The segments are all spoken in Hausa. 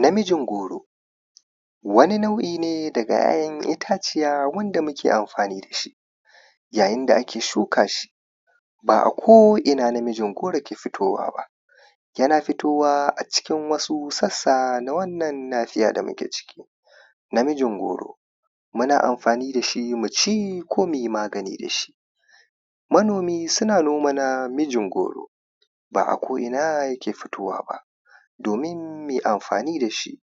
namijin goro wani nau’i ne daga ‘ya’yan itaciya wanda muke amfani dashi yayin da ake shuka shi ba ako ina namijin goro ke fitowa yana fitowa a cikin wani sassa na wannan nahiya da muke ciki namijin goro muna amfani dashi mu ci ko muyi magani dashi manomi suna noma na mijin goro ba a ko’ina yake fitowa ba domin muyi amfani dashi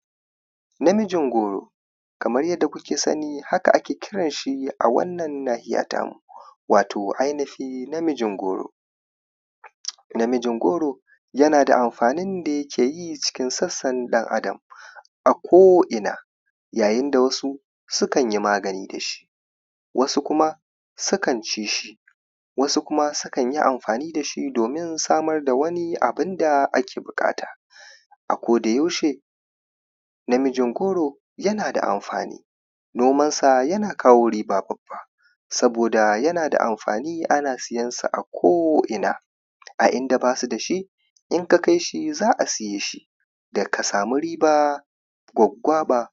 namijin goro kamar yadda kuke sani haka ake kiran shi a wannan nahiya ta mu wato ainihin namijin goro namijin goro yana da amfanin da yake yi cikin sassan jikin ɗan adam a ko’ ina yayin da wasu sukan yi magani dashi wasu kuma sukan ci shi wasu kuma sukan yi amfani dashi domin samar da wani abunda ake buƙata a ko da yaushe namijin goro yana da amfani noman sa yana kawo riba babba sabida yana da amfani ana siyan sa a ko’ina a inda basu dashi in ka kai shi za a siye shi da ka samu riba gwaggwaɓa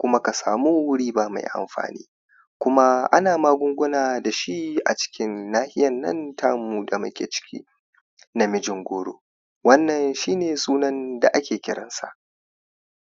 kuma ka samu riba mai amfani kuma ana magunguna dashi a cikin nahiyar nan tamu da muke ciki namijin goro wannan shi ne sunan da ake kiran sa